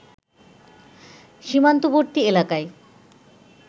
সীমান্তবর্তী এলাকায়